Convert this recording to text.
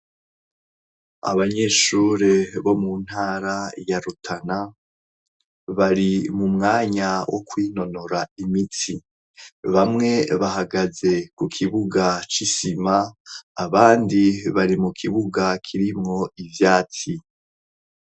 Abanyeshure bo mu ntara ya Rutana bari mu mwanya wo kwinonora imitsi. Bamwe bahagaze ku kibuga c'isima abandi bari mu kibuga kirimwo ivyatsi.